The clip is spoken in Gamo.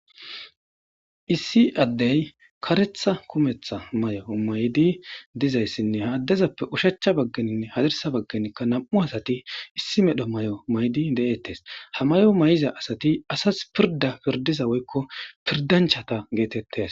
Issi addey karetha kumetha mayo maydi dizayssinne ha addezappe ushacha baggeninne hazirsa baggenikka nam7u asati issi medho may7o maydi de;ettes ha mayo mayiza asati asas pirda pirdiza woykko pirdanchata geetettes.